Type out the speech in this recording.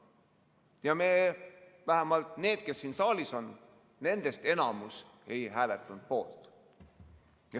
Ja me – vähemalt need, kes siin saalis on, nendest enamus – ei hääletanud poolt.